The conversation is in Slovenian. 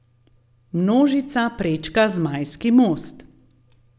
Množica prečka Zmajski most.